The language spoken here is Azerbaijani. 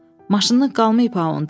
Maşını qalmayıb ha onda.